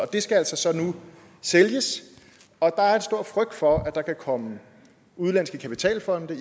det skal altså nu sælges og der er en stor frygt for at der igen kan komme udenlandske kapitalfonde